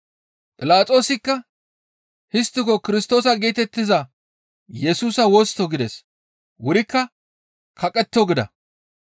Philaxoosikka, «Histtiko Kirstoosa geetettiza Yesusa wosttoo?» gides. Intte wurikka, «Kaqetto!» gida.